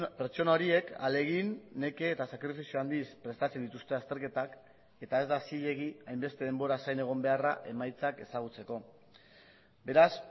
pertsona horiek ahalegin neke eta sakrifizio handiz prestatzen dituzte azterketak eta ez da zilegi hainbeste denboraz zain egon beharra emaitzak ezagutzeko beraz